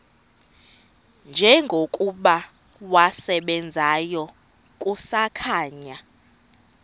njengokuba wasebenzayo kusakhanya